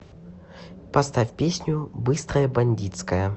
поставь песню быстрая бандитская